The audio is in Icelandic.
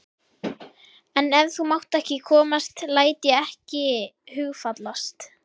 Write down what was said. En ef þú mátt ekki koma læt ég ekki hugfallast.